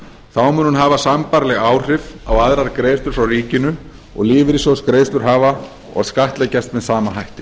þá mun hún hafa sambærileg áhrif á aðrar greiðslur frá ríkinu og lífeyrissjóðsgreiðslur hafa og skattleggjast með sama hætti